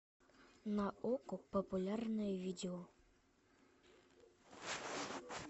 на окко популярное видео